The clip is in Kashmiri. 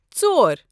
ژور